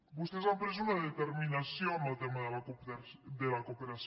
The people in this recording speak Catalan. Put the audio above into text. vostès han pres una determinació en el tema de la cooperació